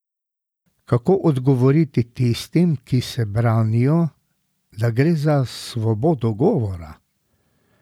Kako odgovoriti tistim, ki se branijo, da gre za svobodo govora?